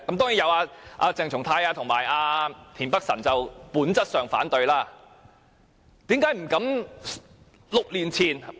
當然，也有鄭松泰議員及田北辰議員本質上反對這項修正案。